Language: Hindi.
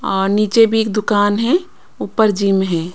अ नीचे भी एक दुकान है ऊपर जिम है।